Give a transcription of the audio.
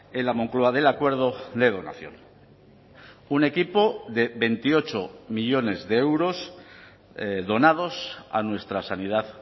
en la moncloa del acuerdo de donación un equipo de veintiocho millónes de euros donados a nuestra sanidad